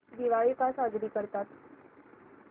दिवाळी का साजरी करतात